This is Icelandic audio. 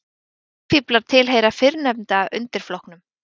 sæfíflar tilheyra fyrrnefnda undirflokknum